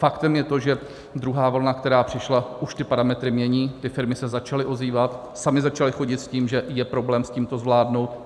Faktem je to, že druhá vlna, která přišla, už ty parametry mění, ty firmy se začaly ozývat, samy začaly chodit s tím, že je problém s tím to zvládnout.